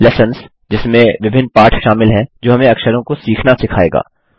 lessons - जिसमें विभिन्न पाठ शामिल हैं जो हमें अक्षरों को सीखना सिखायेगा